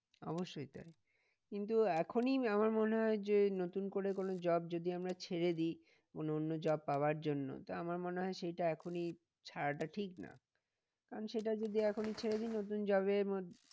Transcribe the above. অবশ্যই তাই কিন্তু এখনই আমার মনে হয় যে নতুন করে কোনো job যদি আমরা ছেড়ে দিই। মানে অন্য job পাওয়ার জন্য তা আমার মনে হয় সেইটা এখনই ছাড়াটা ঠিক না কারণ সেটা যদি এখনই ছেড়ে দিই নতুন job এর